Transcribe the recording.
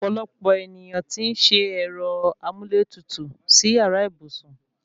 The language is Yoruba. Ọ̀pọ̀lọpọ̀ èniyàn tí ń se ẹ̀rọ amúlétutù sí yàrá ìbùsùn